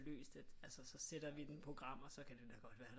Løst at altså så sætter vi den i programmet og så kan det da godt være